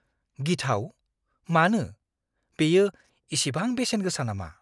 गिथाव? मानो? बेयो इसिबां बेसेन गोसा नामा?